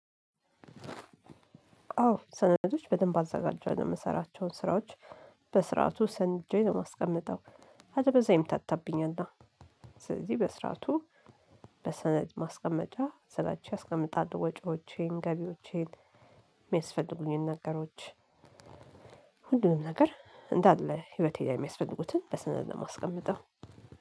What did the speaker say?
አዎ ሰነዶች በደንብ አዘጋጃለው ምሰራቸውን ስራዎች በስርዓቱ ሰንጄ ነው ማስቀምጠው አለበዚያ ይምታታብኛላ። ስለዚህ በስርዓቱ በሰነድ ማስቀመጫ ስራቼ አስቀምጣለው። ወጪዎቼን ገቢዎቼን ሚያስፈልጉኝን ነገሮች። ሁሉንም ነገር እንዳለ ህይወቴ ላይ ሚያስፈልጉትን በሰነድ ነው ማስቀምጠው